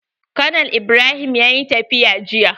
Konal Ibrahim ya yi tafiya jiya.